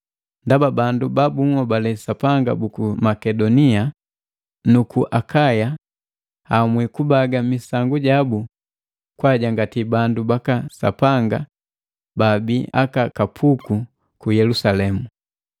Ndaba bandu babunhobale Sapanga buku Makedonia nuku Akaya ahamwi kubaga misangu jabu kwa ajangati bandu baka Sapanga baabi aka kapuku ku Yelusalemu.